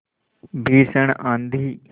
भीषण आँधी